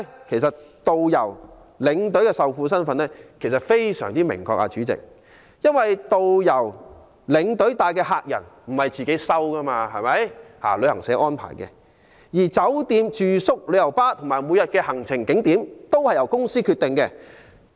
其實導遊、領隊的受僱身份非常明確，因為導遊、領隊帶領的客人並非由他們選擇，而是由旅行社安排；而酒店住宿、旅遊巴，以及每天的行程景點，都是由公司決定。